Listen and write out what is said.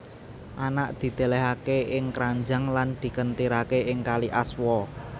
Anak didelehake ing kranjang lan dikentirake ing kali Aswa